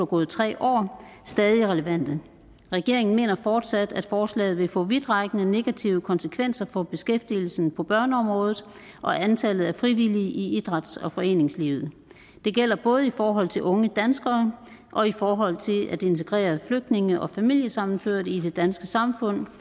gået tre år stadig relevante regeringen mener fortsat at forslaget vil få vidtrækkende negative konsekvenser for beskæftigelsen på børneområdet og antallet af frivillige i idræts og foreningslivet det gælder både i forhold til unge danskere og i forhold til at integrere flygtninge og familiesammenførte i det danske samfund